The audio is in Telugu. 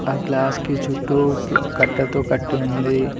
ఆ గ్లాస్ కి చుట్టూ కట్టతో కట్టి ఉంది.